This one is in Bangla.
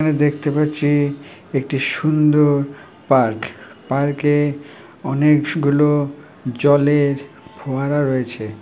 এখানে দেখতে পাচ্ছি একটি সুন্দর পার্ক । পার্কে অনেক গুলো জলের ফোয়ারা রয়েছে।